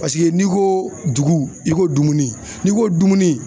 Paseke n'i ko dugu i ko dumuni n'i ko dumuni